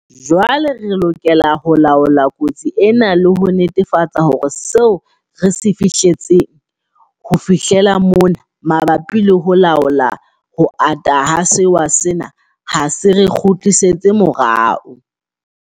Jwale re lokela ho laola kotsi ena le ho netefatsa hore seo re se fihletseng ho fihlela mona mabapi le ho laola ho ata ha sewa sena ha se re kgutlisetse morao.